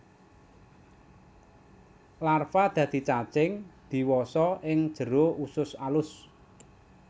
Larva dadi cacing diwasa ing jero usus alus